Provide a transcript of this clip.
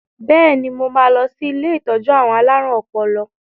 Bẹ́ẹ̀ni, mo máa lọ sí ilé ìtọ́jú àwọn alárùn ọpọlọ